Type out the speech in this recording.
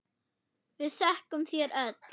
Við þökkum þér öll.